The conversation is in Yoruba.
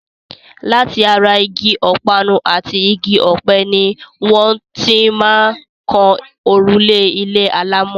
Láti ara igi ọ̀parun àti igi ọ̀pẹ ni wọ́n ti máa ń kan òrùlé ilé alámọ̀.